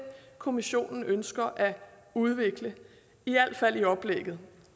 kommissionen ønsker at udvikle i hvert fald i oplægget